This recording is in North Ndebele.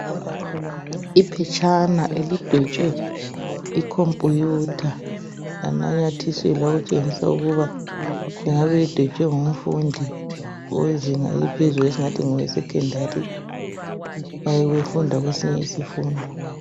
Iphetshana elidwetshwe icomputer yanamathiselwa okutshengisa ukuba lingabe lidwetshe ngumfundi owezinga eliphezulu esingathi ngoweSecondary oyabe efunda kwesinye isifundo.